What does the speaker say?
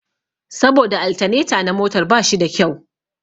Saboda altaneta na motar ba shi da kyau